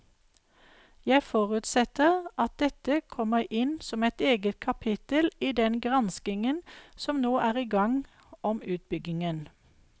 Jeg forutsetter at dette kommer inn som et eget kapittel i den granskingen som nå er i gang om utbyggingen.